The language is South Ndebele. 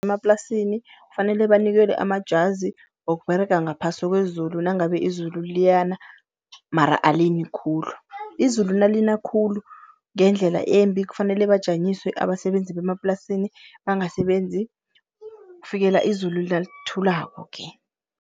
Emaplasini kufanele banikelwe amajazi wokUberega ngaphasi kwezulu nangabe izulu liyana mara alini khulu. Izulu nalina khulu ngendlela embi kufanele bajanyiswe abasebenzi bemaplasini, bangasebenzi kufikela izulu nalithulako-ke.